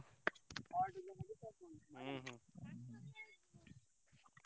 ହୁଁ